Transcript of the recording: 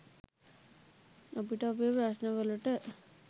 අපිට අපේ ප්‍රශ්ණ වලට